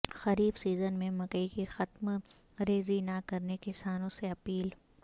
خریف season میں مکئی کی تخم ریزی نہ کرنے کسانوں سے اپیل